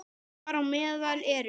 Þar á meðal eru